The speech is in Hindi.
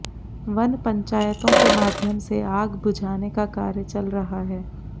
वन पंचायतों के माध्यम से आग बुझाने का कार्य चल रहा है